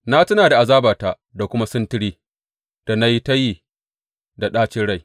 Na tuna da azabata da kuma sintiri, da na yi ta yi da ɗacin rai.